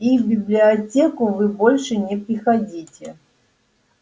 и в библиотеку вы больше не приходите